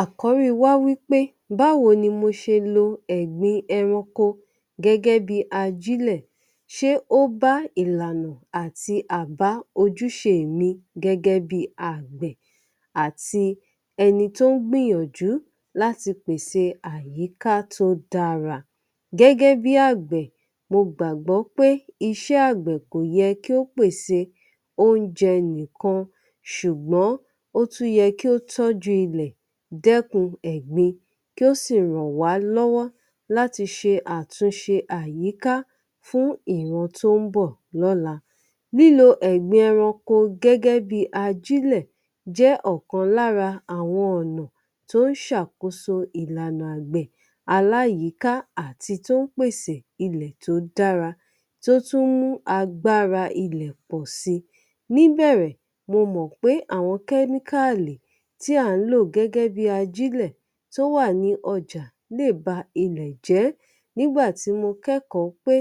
Àkórí wá wí pé báwo ni mo ṣe lo ẹ̀gbin ẹranko gẹ́gẹ́ bí i ajílẹ̀? ṣé ó bá ìlànà àti albá ojúṣe mi gẹ́gẹ́ bí i àgbẹ̀ àti ẹni tó ń gbìyànjú láti pèse àyíká tó dára. Gẹ́gẹ́ bí àgbẹ̀ mo gbàgbọ́ pé iṣẹ́ àgbẹ̀ kò yẹ kí ó pèse oúnjẹ nìkan ṣùgbọ́n ó tún yẹ kí ó tọ́jú ilẹ̀, dẹ́kun ẹ̀gbin kí ó sì ràn wá lọ́wọ́ láti ṣe àtúnṣe àyíká fún ìran tó ń bọ̀ lọ́la. Lílo ẹ̀gbin ẹranko gẹ́gẹ́ bí i ajílẹ̀ jẹ́ ọ̀kan lára àwọn ọ̀nà tó ń ṣàkóso ìlànà àgbẹ̀ aláyìíká àti tó ń pèsè ilẹ̀ tó dára tí ó tún mú agbára ilẹ̀ pọ̀ si. Níbẹ̀rẹ̀, mo mọ̀ pé àwọn chemical tí à ń lò gẹ́gẹ́ bí i ajílẹ̀ tó wà ní ọjà lè ba ilẹ̀ jẹ́. Nígbà tí mo kẹ́kọ̀ọ́ pé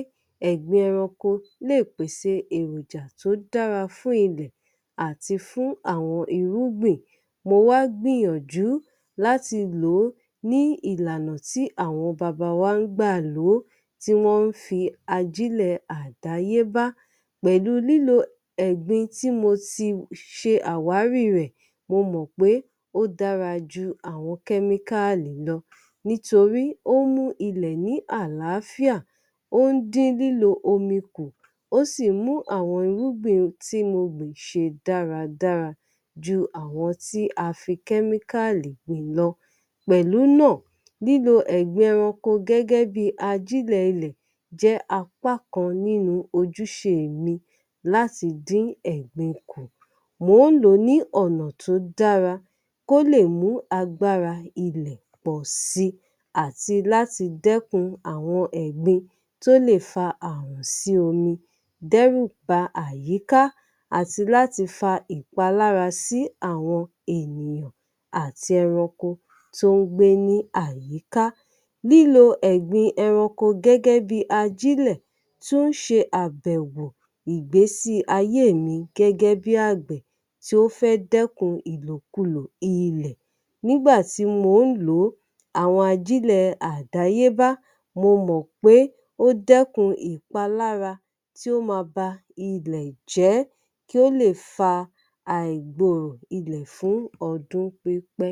ẹ̀gbin ẹranko lè pèsè èròjà tó dára fún ilẹ̀ àti fún àwọn irúgbìn, mo wá gbìyànjú láti lò ó ní ìlànà tí àwọn baba wa ń gbà lò ó tí wọ́n ń fi ajílẹ̀ àdáyébá pẹ̀lú lílo ẹ̀gbin tí mo ti ṣe àwárí rẹ̀ mo mọ̀ pé ó dára ju àwọn chemical lọ nítorí ó mú ilẹ̀ ní àláfíà, ó ń dín lílo omi kù, ó sì ń mú àwọn irúgbìn tí mo gbìn ṣe dáradára jú àwọn tí a fi chemical gbìn lọ. Pẹ̀lú náà, lílo ẹ̀gbin ẹranko gẹ́gẹ́ bí i ajílẹ̀ ilẹ̀ jẹ́ apákan nínú ojúṣe mi láti dín ẹ̀gbin kù. Mò ń lò ó ní ọ̀nà tó dára kó lè mú agbára ilẹ̀ pọ̀ si àti láti dẹ́kun àwọn ẹ̀gbin tí ó lè fa ààrùn sí omi, dẹ́rù ba àyíká àti láti fa ìpalára sí àwọn ènìyàn àti ẹranko tí ó ń gbé ní àyíká. Lílo ẹ̀gbin ẹranko gẹ́gẹ́ bí i ajílẹ̀ tún ń ṣe àbẹ̀wò ìgbésí ayé mi gẹ́gẹ́ bí àgbẹ̀ tí ó fẹ́ dẹ́kun ìlòkulò ilẹ̀. Nígbà tí mò ń lò ó àwọn ajílẹ̀ àdáyébá mo mọ̀ pé ó dẹ́kun ìpalára tí ó ma ba ilẹ̀ jẹ́ kí ó lè fa àìgbo ilẹ̀ fún ọdún pípẹ́.